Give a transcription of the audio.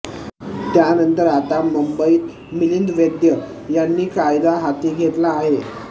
त्यानंतर आता मुंबईत मिलिंद वैद्य यांनी कायदा हाती घेतला आहे